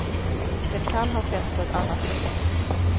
Den kan ha skett på annat sätt.